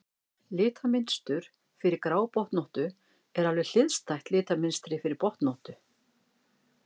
Litamynstur fyrir grábotnóttu er alveg hliðstætt litamynstri fyrir botnóttu.